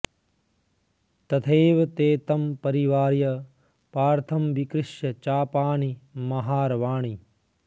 तथैव ते तं परिवार्य पार्थं विकृष्य चापानि महारवाणि